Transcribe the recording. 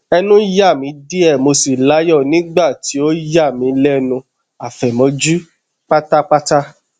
ẹnu ya mi diẹ mo si layọ nigba ti o yami lẹnu afẹmọju patapata